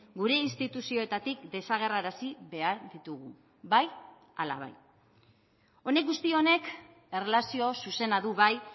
gure instituzioetatik desagerrarazi behar ditugu bai ala bai honek guzti honek erlazio zuzena du bai